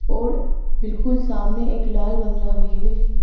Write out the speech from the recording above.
और बिल्कुल सामने एक लाल बंगला भी है।